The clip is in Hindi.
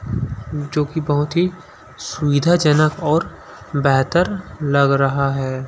जो की बहुत ही सुविधाजनक और बेहतर लग रहा है.